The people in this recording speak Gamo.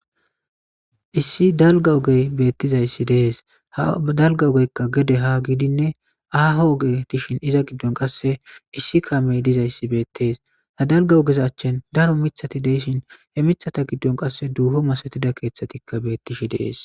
Issi dalga ogey beettizayssi dees hadalga ogeykka gede ha gidinne aaho oge dishin iza giddon qasse issi kamey dizayssi beettees ha dalga ogeza achchin daro mithati deyshin he mithata giddon qasse duuho masatida keeththatikka beettishi dees.